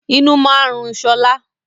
Inú máa ń rùn sọlá